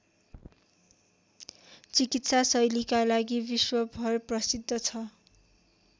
चिकित्साशैलीका लागि विश्वभर प्रसिद्ध छ